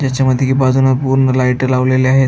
त्याच्या मध्ये की बाजूने पूर्ण लाइटा लावलेल्या आहेत.